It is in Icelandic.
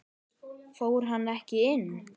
Fór hann ekki inn?